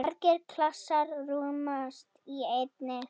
Margir klasar rúmast í einni.